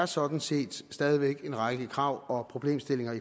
sådan set stadig en række krav og problemstillinger